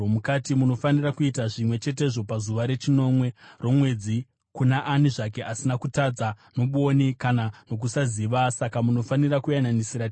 Munofanira kuita zvimwe chetezvo pazuva rechinomwe romwedzi kuna ani zvake asina kutadza nobwoni kana nokusaziva; saka munofanira kuyananisira temberi.